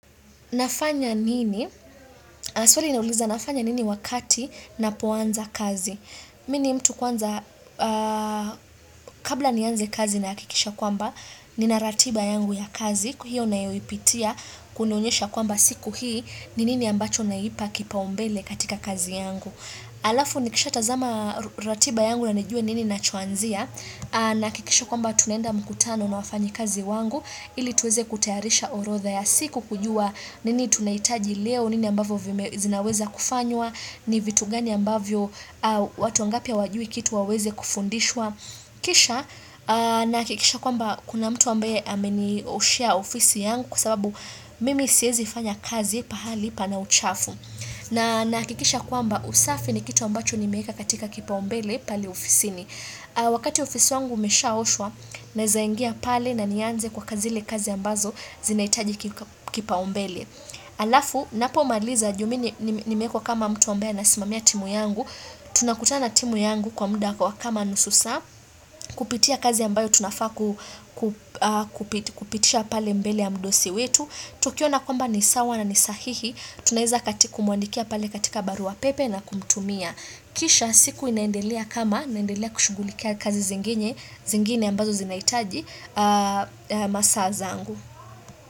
Nafanya nini, swali inauliza nafanya nini wakati napoanza kazi mi ni mtu kwanza kabla nianze kazi na hakikisha kwamba nina ratiba yangu ya kazi, kwa hiyo nayoipitia kunaonyesha kwamba siku hii, ni nini ambacho naipa kipaumbele katika kazi yangu alafu nikishatazama ratiba yangu na nijue nini nachoanzia na hakikisha kwamba tunaenda mkutano na wafanyikazi wangu ili tuweze kutayarisha orodha ya siku kujua nini tunahitaji leo nini ambavyo vime zinaweza kufanywa ni vitu gani ambavyo watu wangapi hawajui kitu waweze kufundishwa kisha nahakikisha kwamba kuna mtu ambaye amenioshea ofisi yangu kwa sababu mimi siezi fanya kazi pahali pana uchafu na nahakikisha kwamba usafi ni kitu ambacho nimeeka katika kipaumbele pale ofisini Wakati ofisi wangu umeshaoshwa naeza ingia pale na nianze kwa kazi zile kazi ambazo zinahitaji kipaumbele alafu, napomaliza juu mi nimeekwa kama mtu ambaye anasimamia timu yangu tunakutana na timu yangu kwa muda kwa kama nusu saa Kupitia kazi ambayo tunafaa ku kupitisha pale mbele ya mdosi wetu Tukiona kwamba ni sawa na ni sahihi Tunaeza kati kumwandikia pale katika barua pepe na kumtumia Kisha siku inaendelea kama naendelea kushughulikia kazi zingine ambazo zinahitaji masaa zangu.